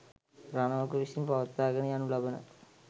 රණවක විසින් පවත්වාගෙන යනු ලබන